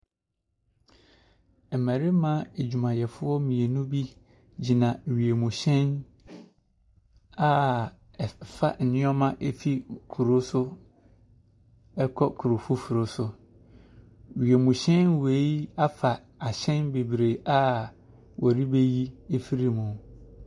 Mmarima adwumayɛfoɔ mmienu bi gyina wiemhyɛn a ɛfa nnoɔma fi kuro so ɛkɔ kuro foforo so. Wiem hyɛn wei afa nneɛma bebree a wɔreyi afiri mu.